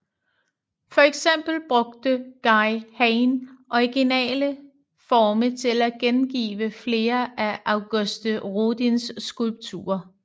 For eksempel brugte Guy Hain originale forme til at gengive flere af Auguste Rodins skulpturer